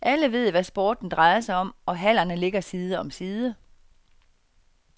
Alle ved, hvad sporten drejer sig om, og hallerne ligger side om side.